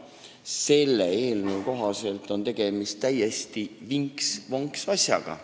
Selle eelnõu kohaselt on tegemist täiesti vinks-vonks asjaga.